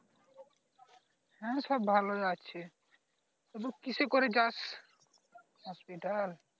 হ্যাঁ সব ভালোই আছে তুই কিসে করে যাস hospital